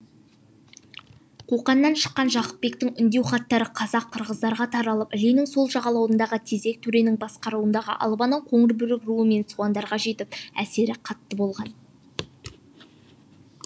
қоқаннан шыққан жақыпбектің үндеу хаттары қазақ қырғыздарға таралып іленің сол жағалауындағы тезек төренің басқаруындағы албанның қоңырбөрік руы және суандарға жетіп әсері қатты болған